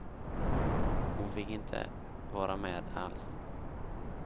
Hon fick inte vara med alls.